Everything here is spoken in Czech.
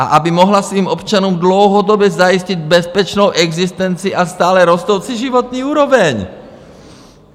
A aby mohla svým občanům dlouhodobě zajistit bezpečnou existenci a stále rostoucí životní úroveň!